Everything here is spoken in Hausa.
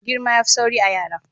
Girma yafin sauri a'yara.